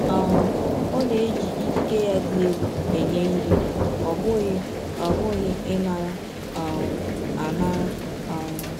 um Ọ na-eji ikike ya dị elụ enye ihe, ọ bụghị ọ bụghị ịnara um anara um